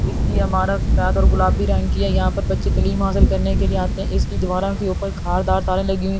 इसकी इमारत सफेद और गुलाबी रंग की है यहां पर बच्चे तालीम हासिल करने के लिए आते हैं इसकी दीवारों के ऊपर खारदार तारें लगी हुई है।